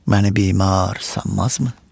Məni bimar sanmazmı?